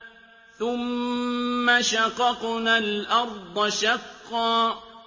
ثُمَّ شَقَقْنَا الْأَرْضَ شَقًّا